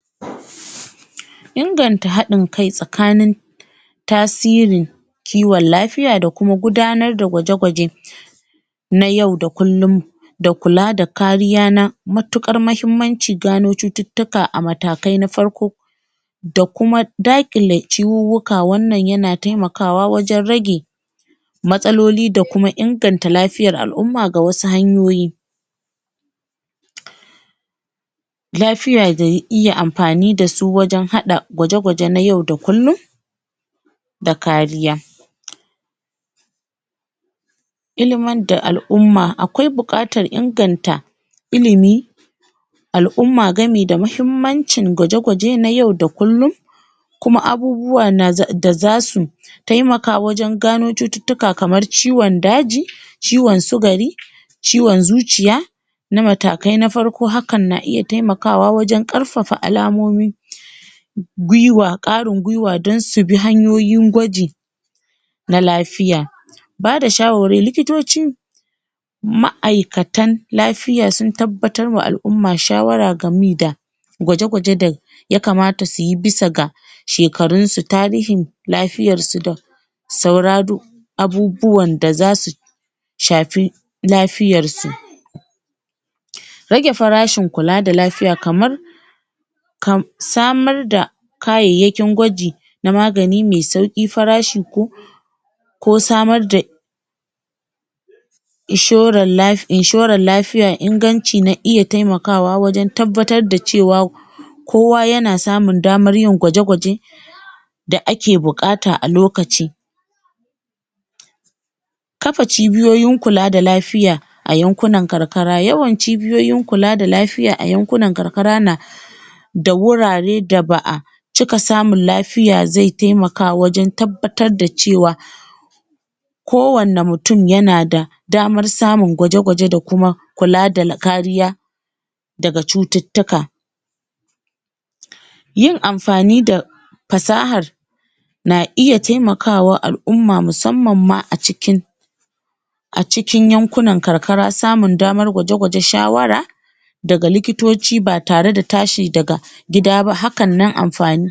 inganta haɗin kai tsakanin tasiri kiwon lafiya da kuma gudanar da gwaje-gwaje na yau da kullum da kula da kariya na matuƙar mahimmanci gano cututtuka a matakai na farko da kuma daƙile ciwuwwuka wannan yana temakawa wajen rage matsaloli da kuma inganta lafiyar al'umma ga wasu hanyoyi lafiya da iya amfani da su wajen haɗa gwaje-gwaje na yau da kullum da kariya iliman da al'umma akwai buƙatar inganta ilimi al'umma game da mahimmancin gwaje-gwaje na yau da kullum kuma abubuwa da zasu temaka wajen gano cututtuka kamar ciwon daji ciwon sugari ciwon zuciya na matakai na farko hakan na iya temakawa wajen ƙarfafa alamomi ƙarin gwiwa don su bi hanyoyin gwaji na lafiya bada shawarwari, likitoci ma'aikatan lafiya sun tabbatar wa al'umma shawara gami da gwaje-gwaje da ya kamata suyi bisa ga shekarun su, tarihin lafiyar su da abubuwan da zasu shafi lafiyar su rage farashin kula da lafiya kamar samar da kayayyakin gwaji na magani me sauƙi farashi ko ko samar da inshoran lafiya inganci na iya temakawa wajen tabbatar da cewa kowa yana samunn damar yin gwaje-gwaje da ake buƙata a lokaci kafa cibiyoyin kula da lafiya a yankunan karkara yawan cibiyoyin kula da lafiya a yankunan karkara na da wurare da ba'a cika samun lafiya ze temaka wajen tabbatar da cewa kowanne mutum yana da damar samun gwaje-gwaje da kuma kula da kariya daga cututtuka yin amfani da fasahar na iya temakawa al'umma musamman ma a cikin a cikin yankunan karkara samun damar gwaje-gwaje shawara daga likitoci ba tare da tashi daga gida ba hakan nan amfani